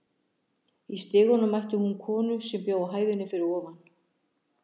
Í stiganum mætti hún konu sem bjó á hæðinni fyrir ofan.